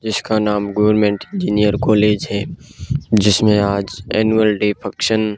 जिसका नाम government engineer college है जिसमे आज एनुअल डे फंक्शन --